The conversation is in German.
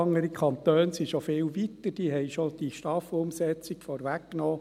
Andere Kantone sind schon viel weiter, diese haben die STAF-Umsetzung schon vorweggenommen.